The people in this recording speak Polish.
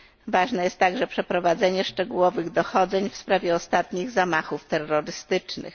Ważne jest także przeprowadzenie szczegółowych dochodzeń w sprawie ostatnich zamachów terrorystycznych.